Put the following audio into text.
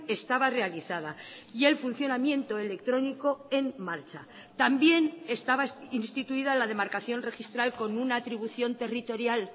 estaba realizada y el funcionamiento electrónico en marcha también estaba instituida la demarcación registral con una atribución territorial